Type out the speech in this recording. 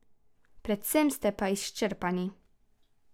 Predvsem ste pa izčrpani.